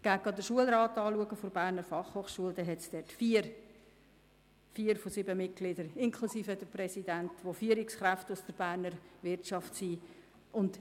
Wenn Sie den Schulrat der BFH anschauen, sehen Sie, dass vier von sieben Mitgliedern, darunter der Präsident, Führungskräfte aus der Berner Wirtschaft sind.